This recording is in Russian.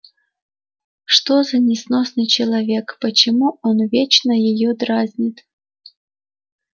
что за несносный человек почему он вечно её дразнит